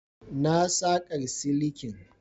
Na saƙar silikin.